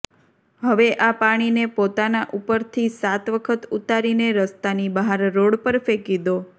હવે આ પાણીને પોતાના ઉપરથી સાત વખત ઉતારીને રસ્તાની બહાર રોડ પર ફેંકી દો